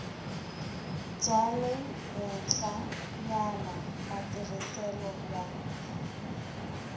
bya le henhlanyana matirhiselo ya